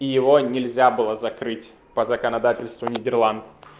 его нельзя было закрыть по законодательству нидерланд